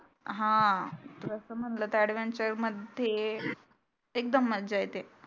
हा तसं म्हटलं तर adventure मध्ये एकदम मज्जा येते